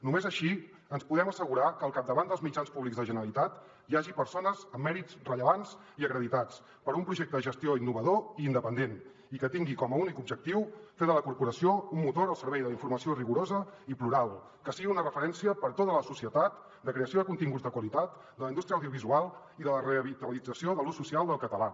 només així ens podem assegurar que al capdavant dels mitjans públics de la generalitat hi hagi persones amb mèrits rellevants i acreditats per a un projecte de gestió innovador i independent i que tinguin com a únic objectiu fer de la corporació un motor al servei de la informació rigorosa i plural que sigui una referència per a tota la societat de creació de continguts de qualitat de la indústria audiovisual i de la revitalització de l’ús social del català